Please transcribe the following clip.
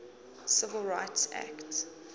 civil rights act